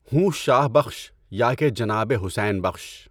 ہوں شاہ بخشؔ یا کہ جنابِ حسینؔ بخش